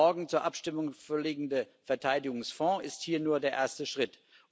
Der morgen zur Abstimmung vorliegende Verteidigungsfonds ist hier nur der erste Schritt.